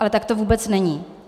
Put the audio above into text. Ale tak to vůbec není.